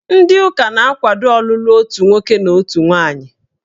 Ndị ụka na-akwado ọlụlụ otu nwoke na otu nwaanyị.